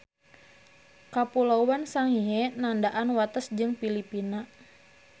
Kapuloan Sangihe nandaan wates jeung Pilipina.